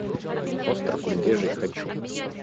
остров медвежий хочу